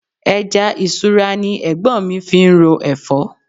Ẹja isura ni Ẹ̀gbọ́n mi fi ń ro Ẹ̀fọ́.